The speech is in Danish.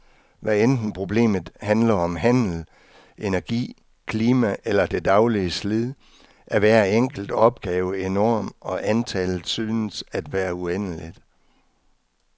Hvad enten problemet handler om handel, energi, klima eller det daglige slid, er hver enkelt opgave enorm og antallet synes at være uendeligt.